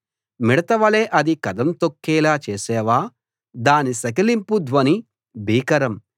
మిడతవలె అది కదం తొక్కేలా చేశావా దాని సకిలింపు ధ్వని భీకరం